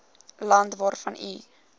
land waarvan u